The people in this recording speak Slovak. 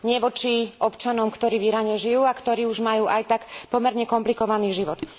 Nie voči občanom, ktorí v Iráne žijú a ktorí už majú aj tak pomerne komplikovaný život.